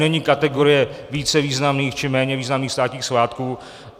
Není kategorie více významných či méně významných státních svátků.